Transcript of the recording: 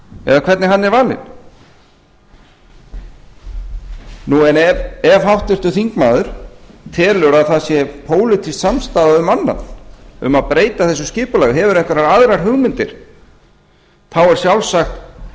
eða hvernig hann er valinn en ef háttvirtur þingmaður telur að það sé pólitísk samstaða um annað um að breyta þessu skipulagi hefur hefur einhverjar aðrar hugmyndir þá er sjálfsagt